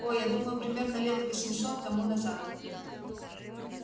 о я думаю примерно лет восемьсот тому назад